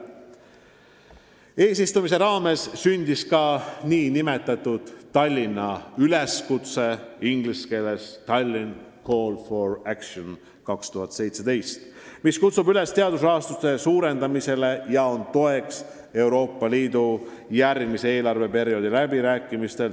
Eesistumise raames sündis ka "Tallinna üleskutse", inglise keeles "The Tallinn Call for Action 2017", mis kutsub üles teadusrahastuse suurendamisele ja on toeks Euroopa Liidu järgmise eelarveperioodi läbirääkimistel.